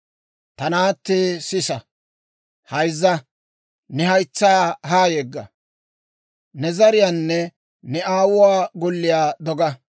Ta naattee, sisa; hayzza; ne haytsaa haa yegga. Ne zariyaanne ne aawuwaa golliyaa doga.